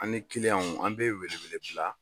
An ni an bɛ welewele bila